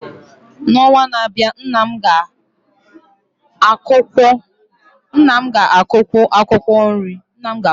N’ọnwa na-abịa, nna m ga-akụkwu akwụkwọ nri